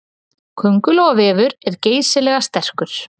Köngulóarvefur er geysilega sterkur.